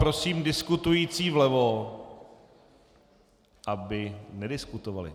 Prosím diskutující vlevo, aby nediskutovali.